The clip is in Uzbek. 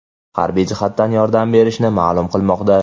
harbiy jihatdan yordam bershini ma’lum qilmoqda.